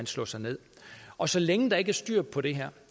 slå sig ned og så længe der ikke er styr på det her